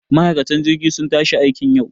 Ma'aikan jirgi sun tashi aikiin yau